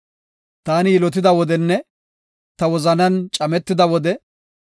Taani yilotida wodenne ta wozanan cametida wode,